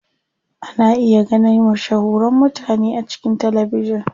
Ana iya ganin mashahuran mutane a cikin talabijin.